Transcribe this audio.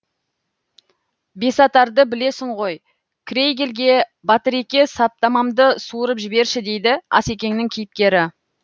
бесатарды білесің ғой крейгельге батыреке саптамамды суырып жіберші дейді асекеңнің кейіпкері